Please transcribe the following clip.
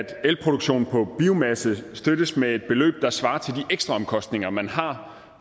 at elproduktion på biomasse støttes med et beløb der svarer til de ekstra omkostninger man har